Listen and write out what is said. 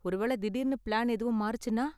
ஒரு வேள திடீர்னு பிளான் எதுவும் மாறுச்சுனா?